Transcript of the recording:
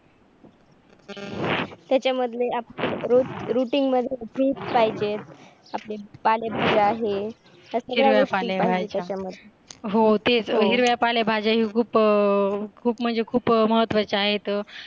त्याच्या मध्ये रोज ROUTIN मध्ये FRUITS पाहीजे आपले पाले भाज्य आहे, हे हीरव्या पालेभाज्या आहे, हिरव्या गोष्टी पाहिजे तेचा मध्ये हिरव्या पालेभाज्या खूप म्हणजे खूप महत्वाचे आहेत